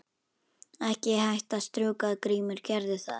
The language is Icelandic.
Ekki hætta að strjúka Grímur gerðu það.